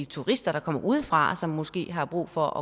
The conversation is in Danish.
turister der kommer udefra og som måske har brug for